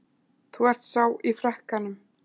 Þú ert sá í frakkanum.